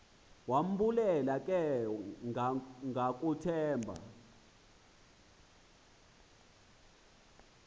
wambulela ke ngakumthemba